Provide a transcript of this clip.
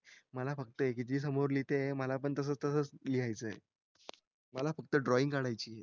मला फक्त एक जी समोर लिहिते मला पण तसाच तसं लिहायचं मला फक्त ड्रॉईंग काढायची